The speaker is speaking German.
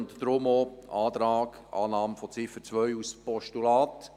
Deshalb lautet der Antrag auf Annahme der Ziffer 2 als Postulat.